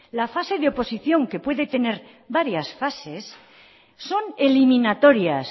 la fase de oposición que puede tener varias fases son eliminatorias